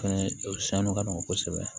Fɛnɛ o sanu ka nɔgɔn kosɛbɛ